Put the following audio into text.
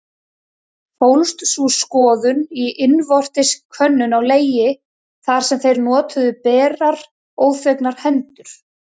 Fólst sú skoðun í innvortis könnun á legi, þar sem þeir notuðu berar, óþvegnar hendur.